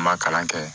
An ma kalan kɛ